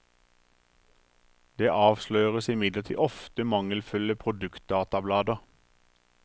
Det avsløres imidlertid ofte mangelfulle produktdatablader.